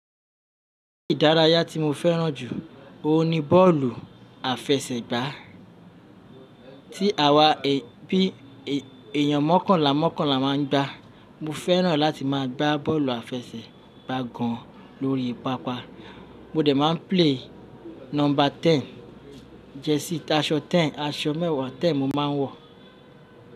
Erè ìdárayá tí mo fẹ́ràn jù, òun ni bọ́ọ̀lù àfẹsẹ̀gbá tí àwon èèyàn mọ́kànlá mọ́kànlá máa ń gbá. Mo fẹ́ràn láti máa gbá bọ́ọ̀lù àfẹsẹ̀gbá gan lọ́rí pápá. Mo de máa ń play number ten, jersey aṣọ ten, aṣọ mẹ́wàá ten mo máa ń wọ̀